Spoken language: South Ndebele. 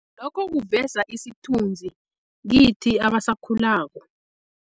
Lokho kuveza isithunzi kithi abasakhulako.